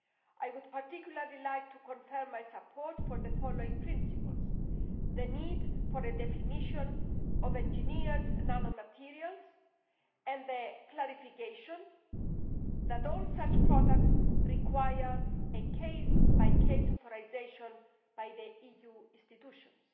I would particularly like to confirm my support for the following principles the need for a definition of engineered nanomaterials and the clarification that all such products require a case by case authorisation by the EU institutions